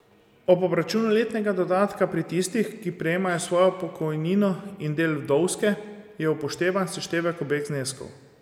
Ob obračunu letnega dodatka pri tistih, ki prejemajo svojo pokojnino in del vdovske, je upoštevan seštevek obeh zneskov.